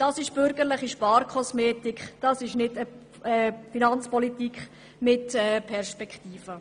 Das ist bürgerliche Sparkosmetik und keine Finanzpolitik mit einer Perspektive.